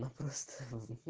просто